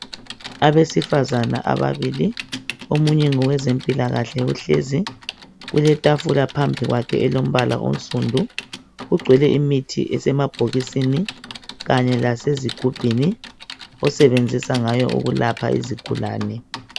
Abesifazane ababili omunye ngowezempilakahle uhlezi kuletafula phambili kwakhe elilombala onsundu kugcwele imithi esemabhokisini kanye lasezigubhini usebenzisa ngayo ukulapha izigulane